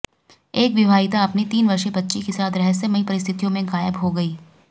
एक विवाहिता अपनी तीन वर्षीय बच्ची के साथ रहस्यमयी परिस्थितियों में गायब हो गई